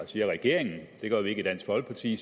siger regeringen det gør vi ikke i dansk folkeparti